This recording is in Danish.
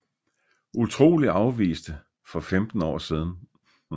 Utrolig afviste for 15 år siden